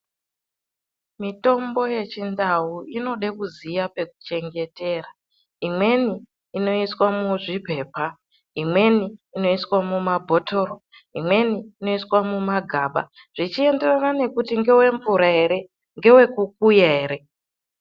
Mitombo yechindau inode kuziya pekuchengetera, imweni inoiswa muzviphepha, imweni inoiswa muma bhothoro, imweni inoiswa mumagaba, zvichienderana nekuti ndgevemvura ere, ngewe kukuya ere.